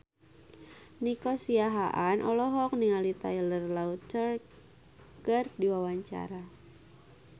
Nico Siahaan olohok ningali Taylor Lautner keur diwawancara